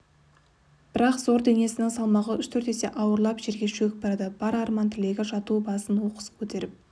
бірақ зор денесінің салмағы үш-төрт есе ауырлап жерге шөгіп барады бар арман-тілегі жату басын оқыс көтеріп